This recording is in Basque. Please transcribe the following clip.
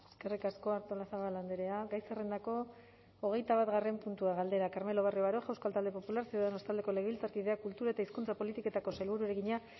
eskerrik asko artolazabal andrea gai zerrendako hogeitabatgarren puntua galdera carmelo barrio baroja euskal talde popular ciudadanos taldeko legebiltzarkideak kultura eta hizkuntza politiketako sailburuari egina